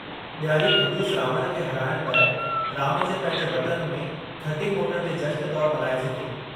ॾियारी ख़बीस रावण खे हराइणु बैदि राम जे पंहिंजे वतन में खटी मोटण जे जशन तौरु मल्हाइजे थी।